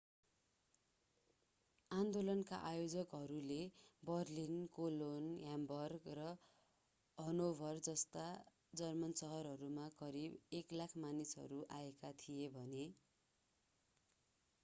आन्दोलनका आयोजकहरूले Berlin Cologne Hamburg र हनोभर जस्ता जर्मन शहरहरूमा करिब 100,000 मानिसहरू आएका थिए भने